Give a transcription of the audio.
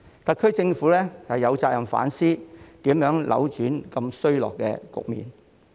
特區政府有責任反思，如何扭轉如此衰落的局面。